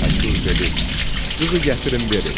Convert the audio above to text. Təkur dedi: "Qızı gətirin verin.